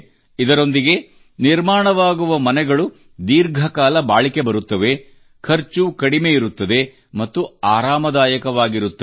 ಇದರೊಂದಿಗೆ ನಿರ್ಮಾಣವಾಗುವ ಮನೆಗಳು ದೀರ್ಘಕಾಲ ಬಾಳಿಕೆ ಬರುತ್ತವೆ ಖರ್ಚು ಕಡಿಮೆ ಇರುತ್ತದೆ ಮತ್ತು ಆರಾಮದಾಯಕವಾಗಿರುತ್ತವೆ